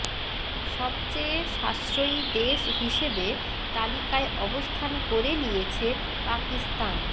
সবচেয়ে সাশ্রয়ী দেশ হিসেবে তালিকায় অবস্থান করে নিয়েছে পাকিস্তান